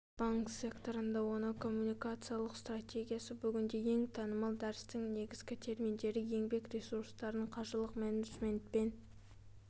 банк секторында оның коммуникациялық стратегиясы бүгінде ең танымалы дәрістің негізгі терминдері еңбек ресурстарын қаржылық менеджмент пен